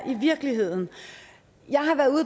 i virkeligheden